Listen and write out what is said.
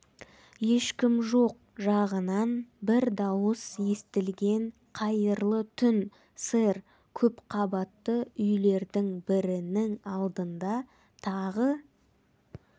ешкім жоқ жағынан бір дауыс естілген қайырлы түн сэр көп қабатты үйлердің бірінің алдында тағы